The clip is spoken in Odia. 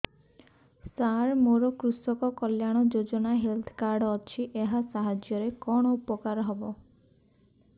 ସାର ମୋର କୃଷକ କଲ୍ୟାଣ ଯୋଜନା ହେଲ୍ଥ କାର୍ଡ ଅଛି ଏହା ସାହାଯ୍ୟ ରେ କଣ ଉପକାର ହବ